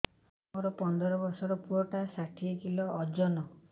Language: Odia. ମୋର ପନ୍ଦର ଵର୍ଷର ପୁଅ ଟା ଷାଠିଏ କିଲୋ ଅଜନ